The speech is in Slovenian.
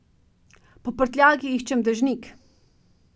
Po prtljagi iščem dežnik.